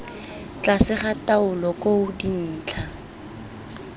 tlase ga taolo koo dintlha